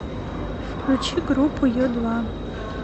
включи группу ю два